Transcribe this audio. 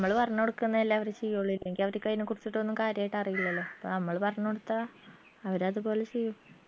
നമ്മള് പറഞ്ഞൊടുക്കുന്നല്ലേ അവര് ചെയ്യുള്ളൂ ഇല്ലെങ്കി അവര് അയ്ന കുറിച്ചിട്ടൊന്നും കാര്യായിട്ട് അറിയില്ലല്ലോ അപ്പൊ നമ്മള് പറഞ്ഞ് കൊടുത്താ അവരത് പോലെ ചെയ്യും